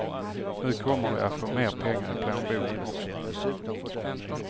Nu kommer de att få mer pengar i plånboken också.